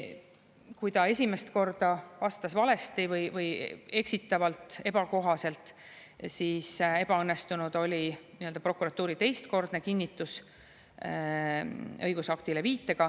Kui ta esimest korda vastas valesti või eksitavalt, ebakohaselt, siis ebaõnnestunud oli prokuratuuri teistkordne kinnitus viitega õigusaktile.